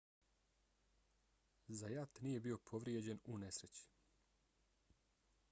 zayat nije bio povrijeđen u nesreći